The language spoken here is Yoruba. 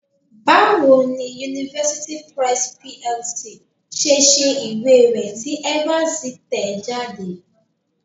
Báwo ni University Press PLC ṣe ṣe ìwé rẹ tí Evans tẹ̀ ẹ́ jáde?